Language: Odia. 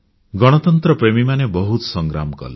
ଗଣିତନ୍ତ୍ରପ୍ରେମୀମାନେ ବହୁତ ସଂଗ୍ରାମ କଲେ